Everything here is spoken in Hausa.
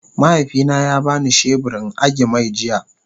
mahaifi na ya bani shebur in agi-mai jiya.